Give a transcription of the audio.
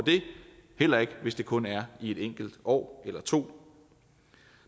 det heller ikke hvis det kun er i et enkelt år eller to